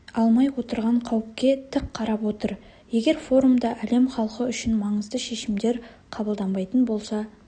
алмай отырған қауіпке тік қарап отыр егер форумда әлем халқы үшін маңызды шешімдер қабылданбайтын болса